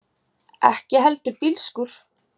Ekki heldur bílskúr.